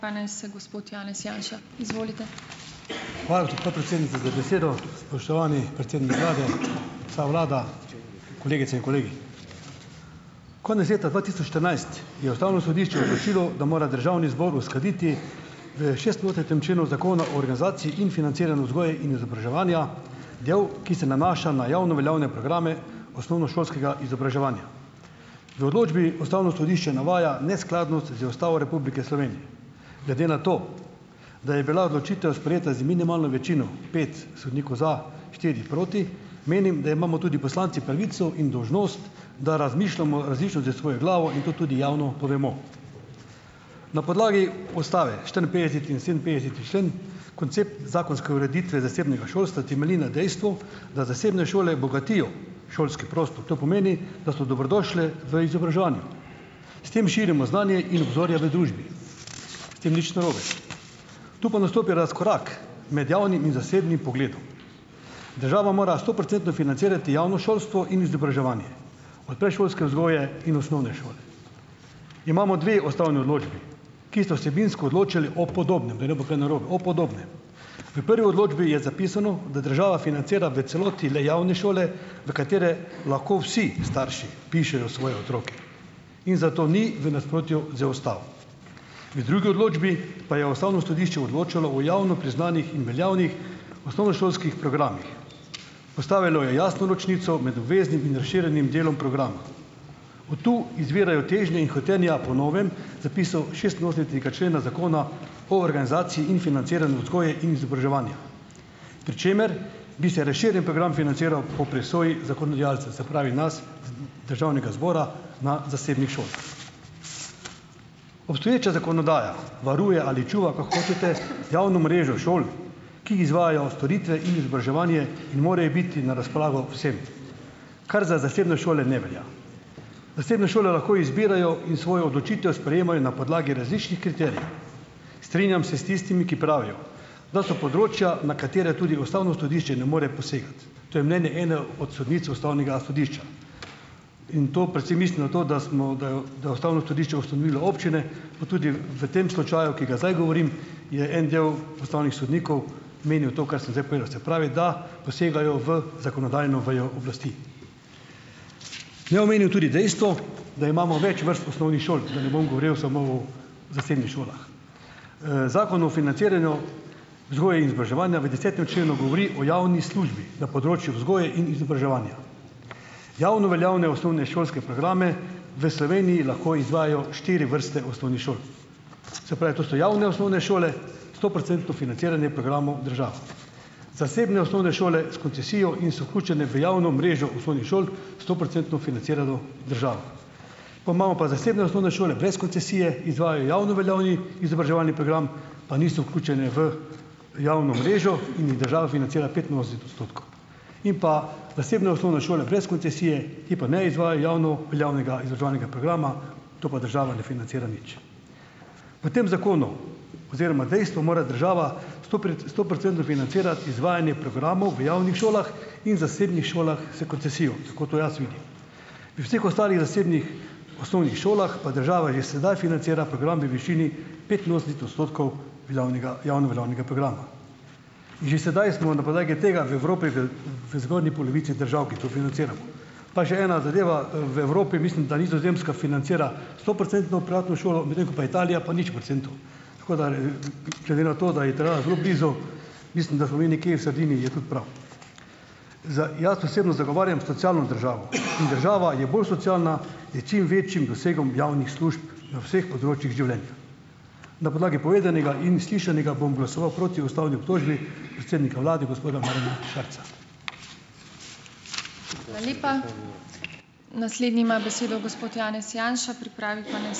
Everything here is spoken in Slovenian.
Hvala, tudi podpredsednica, za besedo. Spoštovani predsednik vlade, vsa vlada, kolegice in kolegi. Konec leta dva tisoč štirinajst je ustavno sodišče odločilo, da mora državni zbor uskladiti v šestinosemdesetem členu Zakona o organizaciji in financiranju vzgoje in izobraževanja, del, ki se nanaša na javno veljavne programe osnovnošolskega izobraževanja. V odločbi ustavno sodišče navaja neskladnost z Ustavo Republike Slovenije. Glede na to, da je bila odločitev sprejeta z minimalno večino, pet sodnikov za, štiri proti, menim, da imamo tudi poslanci pravico in dolžnost, da razmišljamo različno s svojo glavo in to tudi javno povemo. Na podlagi ustave, štiriinpetdeseti in sedeminpetdeseti člen, koncept zakonske ureditve zasebnega šolstva temelji na dejstvu, da zasebne šole bogatijo šolski prostor. To pomeni, da so dobrodošle v izobraževanju. S tem širimo znanje in obzorja v družbi. S tem nič narobe. Tu pa nastopi razkorak med javnim in zasebnim pogledom. Država mora stoprocentno financirati javno šolstvo in izobraževanje, od predšolske vzgoje in osnovne šole. Imamo dve ustavni odločbi, ki sta vsebinsko odločali o podobnem, da ne bo kaj narobe, o podobnem. V prvi odločbi je zapisano, da država financira v celoti le javne šole, v katere lahko vsi starši vpišejo svoje otroke, in zato ni v nasprotju z ustavo. In v drugi odločbi pa je ustavno sodišče odločalo o javno priznanih in veljavnih osnovnošolskih programih. Postavilo je jasno ločnico med obveznim in razširjenim delom programa. Od tu izvirajo težnje in hotenja po novem zapisu šestinosemdesetega člena Zakona o organizaciji in financiranju vzgoje in izobraževanja, pri čemer bi se razširjeni program financiral po presoji zakonodajalca, se pravi nas, državnega zbora na zasebnih šolah. Obstoječa zakonodaja varuje ali čuva, kakor hočete, javno mrežo šol, ki izvajajo storitve in izobraževanje in morajo biti na razpolago vsem, kar za zasebne šole ne velja. Zasebne šole lahko izbirajo in svojo odločitev sprejemajo na podlagi različnih kriterijev. Strinjam se s tistimi, ki pravijo, da so področja, na katere tudi ustavno sodišče ne more posegati. To je mnenje ene od sodnic ustavnega sodišča. In to predvsem mislim na to, da smo, da jo da je ustavno sodišče ustanovilo občine, pa tudi v tem slučaju, ki ga zdaj govorim, je en del ustavnih sodnikov menil to, kar sem zdaj povedal. Se pravi, da posegajo v zakonodajno vejo oblasti. Naj omenim tudi dejstvo, da imamo več vrst osnovnih šol, da ne bom govoril samo o zasebnih šolah. Zakon o financiranju vzgoje in izobraževanja v desetem členu govori o javni službi na področju vzgoje in izobraževanja. Javno veljavne osnovnošolske programe v Sloveniji lahko izvajajo štiri vrste osnovnih šol. Se pravi, to so javne osnovne šole - stoprocentno financiranje programov država. Zasebne osnovne šole s koncesijo in so vključene v javno mrežo osnovnih šol - stoprocentno financirano država. Pol imamo pa zasebne osnovne šole brez koncesije, izvajajo javno veljavni izobraževalni program, pa niso vključene v javno mrežo in jih država financira petinosemdeset odstotkov. In pa zasebne osnovne šole brez koncesije, ki pa ne izvajajo javno veljavnega izobraževalnega programa, to pa država ne financira nič. Po tem zakonu oziroma dejstvu mora država sto stoprocentno financirati izvajanje programov v javnih šolah in zasebnih šolah s koncesijo. Tako to jaz vidim. Pri vseh ostalih zasebnih osnovnih šolah pa država že sedaj financira program v višini petinosemdeset odstotkov veljavnega javno veljavnega programa. In že sedaj smo na podlagi tega v Evropi v v zgornji polovici držav, ki to financiramo. Pa še ena zadeva, v Evropi, mislim, da Nizozemska financira stoprocentno privatno šolo, medtem ko pa Italija pa nič procentov. Tako da, glede na to, da je Italija zelo blizu, mislim, da smo mi nekje v sredini, zdaj tudi prav. Za jaz osebno zagovarjam socialno državo. In država je bolj socialna s čim večjim dosegom javnih služb na vseh področjih življenja. Na podlagi povedanega in slišanega bom glasoval proti ustavni obtožbi predsednika vlade, gospoda Marjana Šarca.